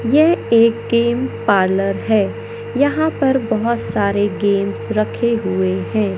यह एक game parlour है यहां पर बहुत सारे गेम्स रखे हुए हैं।